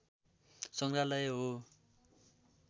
सङ्ग्रहालय हो